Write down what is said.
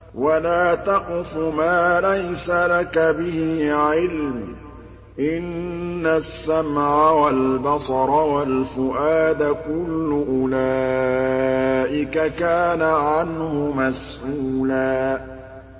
وَلَا تَقْفُ مَا لَيْسَ لَكَ بِهِ عِلْمٌ ۚ إِنَّ السَّمْعَ وَالْبَصَرَ وَالْفُؤَادَ كُلُّ أُولَٰئِكَ كَانَ عَنْهُ مَسْئُولًا